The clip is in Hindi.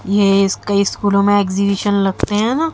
ये कई स्कूलों में एग्जिबिशन लगते हैं ना--